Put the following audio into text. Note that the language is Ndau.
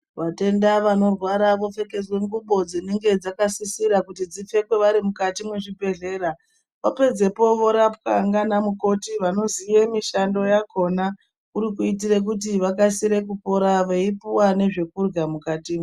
Vatenda vano rwara vo pfekedzwe ngubo dzinenge dzaka sisira kuti dzipfekwe vari mukato mwe zvibhedhlera va pedzepo vorapwa ngana mukoti vano ziye mishando yakona kuri ku itire kuti vakasire kupora vei puwa nezve kurya mukati mwo.